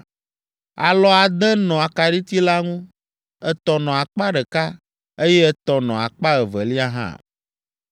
Alɔ ade nɔ akaɖiti la ŋu, etɔ̃ nɔ akpa ɖeka, eye etɔ̃ nɔ akpa evelia hã.